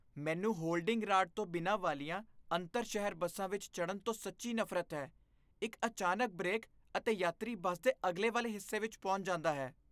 ਮੈਨੂੰ holding rod ਤੋਂ ਬਿਨਾਂ ਵਾਲੀਆਂ ਅੰਤਰ ਸ਼ਹਿਰ ਬੱਸਾਂ ਵਿੱਚ ਚਡ਼੍ਹਨ ਤੋਂ ਸੱਚੀ ਨਫ਼ਰਤ ਹੈ ਇੱਕ ਅਚਾਨਕ ਬ੍ਰੇਕ ਅਤੇ ਯਾਤਰੀ ਬੱਸ ਦੇ ਅਗਲੇ ਵਾਲੇ ਹਿੱਸੇ ਵਿੱਚ ਪਹੁੰਚ ਜਾਂਦਾ ਹੈ